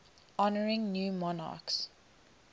honouring new monarchs